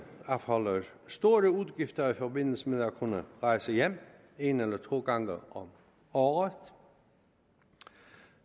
afholde store udgifter i forbindelse med at kunne rejse hjem en eller to gange om året